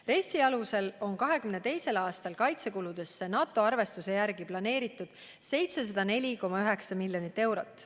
RES-i alusel on 2022. aastal kaitsekuludesse NATO arvestuse järgi planeeritud 704,9 miljonit eurot.